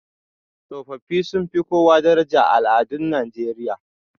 Tsofaffi sun fi kowa daraja a al'adun Najeriya